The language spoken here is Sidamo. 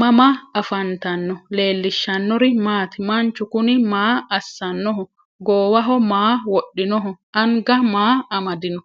mama affanttanno? leelishanori maati? manchu kunni maa asanoho? gowaho maa wodhinoho? anga maa amadino?